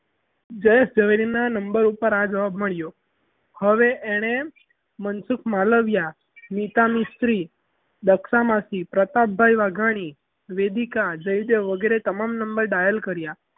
જયેશ ઝવેરી ના number ઉપર આ જવાબ મળ્યો હવે એણે મનસુક માલવયા નીતા મિસ્ત્રી દર્શના માસી પ્રકાશભાઈ વાઘાણી વેદિકા જયદેવ વગેરે ને તમામ number dial કર્યા.